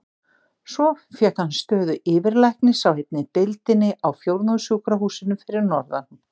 Svo fékk hann stöðu yfirlæknis á einni deildinni á Fjórðungssjúkrahúsinu fyrir norðan.